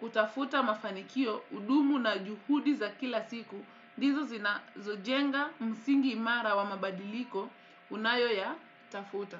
kutafuta mafanikio udumu na juhudi za kila siku, ndizo zinazojenga msingi imara wa mabadiliko unayoyatafuta.